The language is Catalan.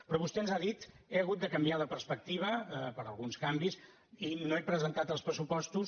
però vostè ens ha dit he hagut de canviar de perspectiva per alguns canvis i no he presentat els pressupostos